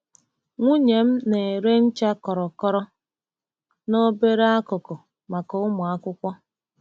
Nwunye m na-ere ncha kọrọkọrọ na obere akụkụ maka ụmụ akwụkwọ.